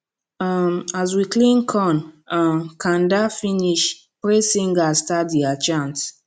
um as we clean corn um kanda finish praise singers start dia chant